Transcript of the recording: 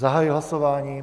Zahajuji hlasování.